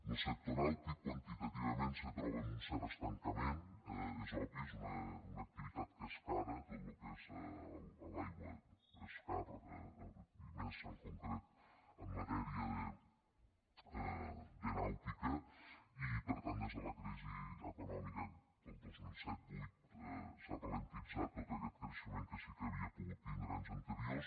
lo sector nàutic quantitativament se troba en un cert estancament és obvi és una activitat que és cara tot lo que és a l’aigua és car i més en concret en matèria de nàutica i per tant des de la crisi econòmica del dos mil set vuit s’ha alentit tot aquest creixement que sí que havia pogut tindre en anys anteriors